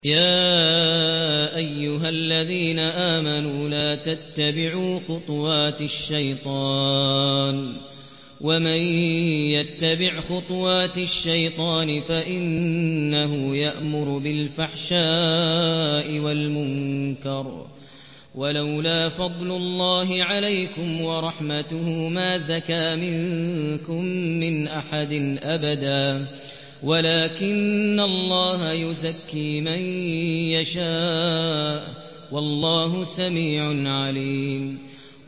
۞ يَا أَيُّهَا الَّذِينَ آمَنُوا لَا تَتَّبِعُوا خُطُوَاتِ الشَّيْطَانِ ۚ وَمَن يَتَّبِعْ خُطُوَاتِ الشَّيْطَانِ فَإِنَّهُ يَأْمُرُ بِالْفَحْشَاءِ وَالْمُنكَرِ ۚ وَلَوْلَا فَضْلُ اللَّهِ عَلَيْكُمْ وَرَحْمَتُهُ مَا زَكَىٰ مِنكُم مِّنْ أَحَدٍ أَبَدًا وَلَٰكِنَّ اللَّهَ يُزَكِّي مَن يَشَاءُ ۗ وَاللَّهُ سَمِيعٌ عَلِيمٌ